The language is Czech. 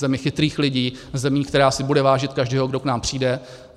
Zemi chytrých lidí, zemi, která si bude vážit každého, kdo k nám přijde.